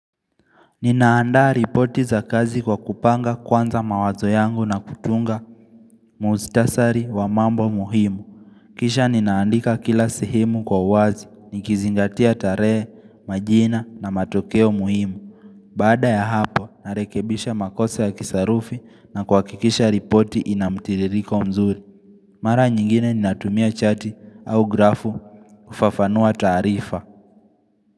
Ninaandaa ripoti za kazi kwa kupanga kwanza mawazo yangu na kutunga muhtasari wa mambo muhimu Kisha ninaandika kila sehemu kwa uwazi, nikizingatia tarehe, majina na matokeo muhimu Bada ya hapo, narekebisha makosa ya kisarufi na kwa kuhakikisha ripoti inamtiririko mzuri Mara nyingine ninatumia chati au grafu kufafanua taarifa.